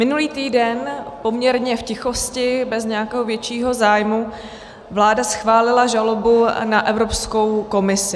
Minulý týden, poměrně v tichosti, bez nějakého většího zájmu, vláda schválila žalobu na Evropskou komisi.